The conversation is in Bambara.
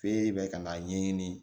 Fe bɛ kan'a ɲɛɲini